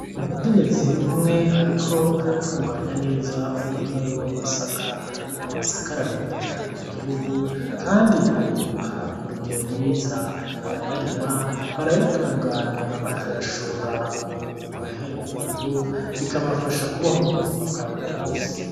Umukenyezi umwe ariko aratunganya neza umurima wiwe w’amasaka. Amasaka ararimwa cane mu gihugu kandi arimbuka ku rugero rwiza. Abayarima, barayatunganya bakayashora ku mahinguriro bikabafasha kubaho mu buzima bwa buri munsi.